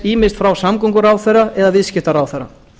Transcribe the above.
ýmist frá samgönguráðherra eða viðskiptaráðherra